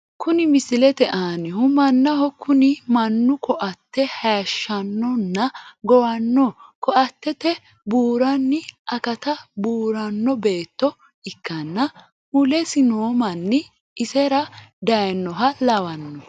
Kuni misilete aannihu mannaho kuni mannu koate haayshshanno nna gowanno koattete buuranni akatta buuranno betto ikkanna mulesi no manni isera daayinoha lawanno.